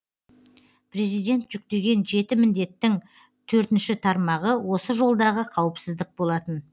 президент жүктеген жеті міндеттің төртінші тармағы осы жолдағы қауіпсіздік болатын